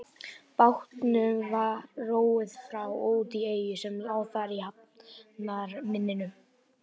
Bátnum var róið frá og út í eyju sem lá þar í hafnarmynninu.